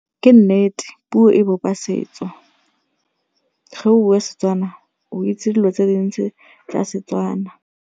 Ke nnete puo e bopa setso ge o buwa Setswana o itse dilo tse dintsi tsa seTswana.